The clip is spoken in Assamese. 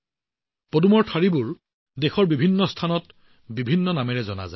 পদুমৰ কাণ্ডবোৰ সমগ্ৰ দেশৰ বিভিন্ন ঠাইত বিভিন্ন নামেৰে জনা যায়